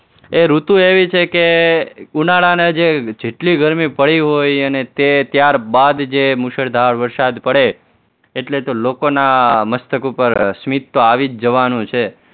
એ ઋતુ એવી છે કે ઉનાળાને જે જેટલી ગરમી પડી હોય અને ત્યારબાદ જે મુશળધાર વરસાદ પડે એટલે તો લોકોના મસ્તક ઉપર સ્મિત તો આવી જ જવાનું છે.